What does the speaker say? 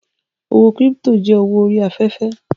Owó kírípítò jẹ́ owó orí afẹ́fẹ́